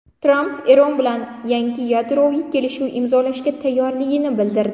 Tramp Eron bilan yangi yadroviy kelishuv imzolashga tayyorligini bildirdi.